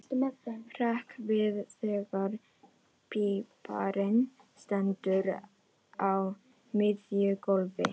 Hrekk við þegar píparinn stendur á miðju gólfi.